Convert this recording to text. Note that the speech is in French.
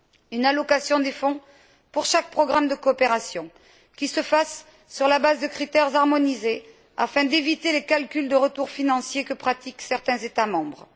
Une allocation des fonds pour chaque programme de coopération, qui se fasse sur la base de critères harmonisés, afin d'éviter les calculs de retours financiers que pratiquent certains États membres.